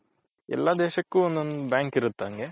ಎಲ್ಲಾ ದೇಶಕ್ಕೂ ಒಂದ್ ಒಂದ್ ಬ್ಯಾಂಕ್ ಇರುತ ಅಂಗೆ .